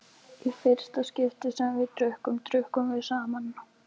Í fyrsta skipti sem við drukkum, drukkum við saman.